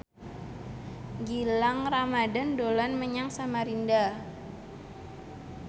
Gilang Ramadan dolan menyang Samarinda